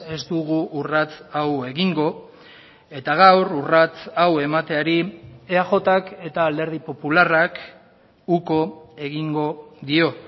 ez dugu urrats hau egingo eta gaur urrats hau emateari eajk eta alderdi popularrak uko egingo dio